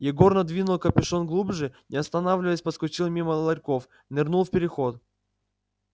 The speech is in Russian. егор надвинул капюшон глубже не останавливаясь проскочил мимо ларьков нырнул в переход